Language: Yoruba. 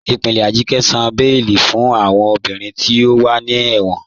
Ipinlẹ̀ Ajike sàn bẹẹ̀lì fún awọn obìnrin tí o wà ní ẹ̀wọn.